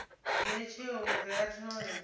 dzhia tsheo uri a thole